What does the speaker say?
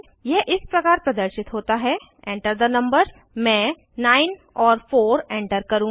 यह इस प्रकार प्रदर्शित होता है Enter थे नंबर्स मैं 9 और 4 एंटर करुँगी